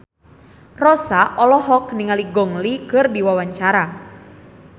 Rossa olohok ningali Gong Li keur diwawancara